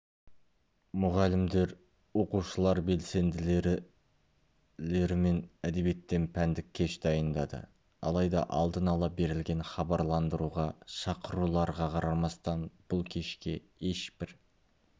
мұғалімдер оқушылар белсенділілерімен әдебиеттен пәндік кеш дайындады алайда алдын-ала берілген хабарландыруға шақыруларға қарамастан бұл кешке ешбір